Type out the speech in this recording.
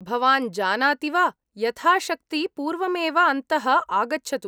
भवान् जानाति वा, यथाशक्ति पूर्वमेव अन्तः आगच्छतु।